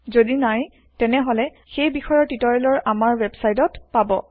যদি নাই তেনেহলে আমাৰ ৱেবচাইত সেই বিষয়ৰ টিওটিৰিয়েল আমাৰ ৱেবচাইতত পাব